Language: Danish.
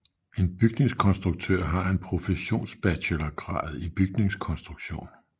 En bygningskonstruktør har en professionsbachelorgrad i bygningskonstruktion